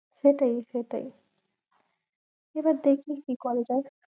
সেটাই সেটাই এবার দেখবি কি করে দেখ।